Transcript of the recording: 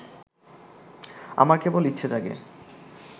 আমার কেবল ইচ্ছে জাগে